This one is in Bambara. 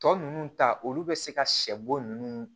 Tɔ ninnu ta olu bɛ se ka sɛ bo ninnu